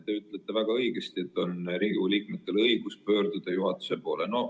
Te ütlesite väga õigesti, et Riigikogu liikmetel on õigus pöörduda juhatuse poole.